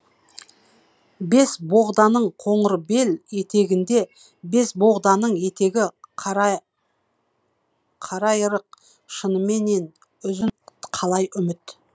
бесбоғданың қоңырбел етегінде бесбоғданың етегі қарайырық шыныменен үзіл қалай үміт